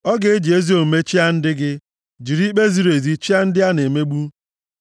Ọ ga-eji ezi omume chịa ndị gị, jiri ikpe ziri ezi chịa ndị a na-emegbu.